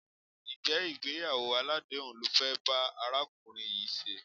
Ǹjẹ́ ìgbéyàwó aládèéhùn lo fẹ́ bá arákùnrin yìí ṣe?